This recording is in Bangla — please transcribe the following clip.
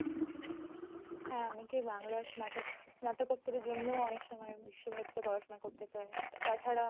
হ্যাঁ, অনেকেই বাংলা স্নাতক স্নাতকোত্তরের জন্য অনেক সময় বিশ্বভারতীতে পড়াশোনা করতে চায়। তাছাড়া